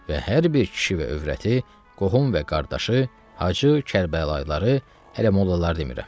Və hər bir kişi və övrəti, qohum və qardaşı, Hacı, Kərbəlayıları, hələ mollaları demirəm.